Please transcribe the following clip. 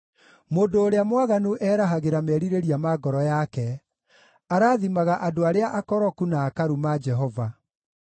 Mũndũ ũrĩa mwaganu erahagĩra merirĩria ma ngoro yake; arathimaga andũ arĩa akoroku, na akaruma Jehova.